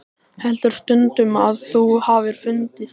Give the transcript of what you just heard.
Heldur stundum að þú hafir fundið.